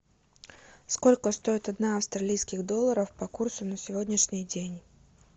сколько стоит одна австралийских долларов по курсу на сегодняшний день